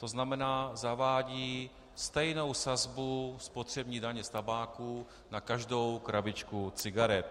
To znamená, zavádí stejnou sazbu spotřební daně z tabáku na každou krabičku cigaret.